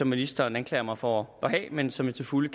ministeren anklager mig for at have men som jeg til fulde